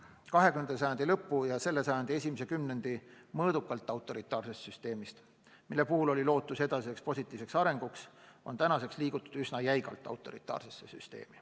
20. sajandi lõpu ja selle sajandi esimese kümnendi mõõdukalt autoritaarsest süsteemist, mille puhul oli lootus edasiseks positiivseks arenguks, on tänaseks saanud üsna jäigalt autoritaarne süsteem.